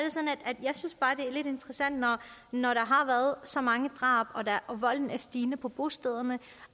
lidt interessant når når der har været så mange drab og volden er stigende på på stederne